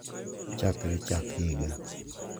Chakre chak higa.